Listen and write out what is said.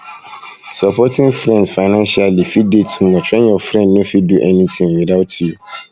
supporting friends financially fit de too much when your friend no fit no fit do anything without you